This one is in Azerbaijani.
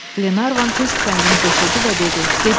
Glevan tez tüfəngini götürdü və dedi: gedək.